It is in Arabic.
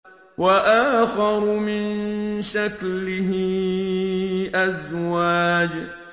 وَآخَرُ مِن شَكْلِهِ أَزْوَاجٌ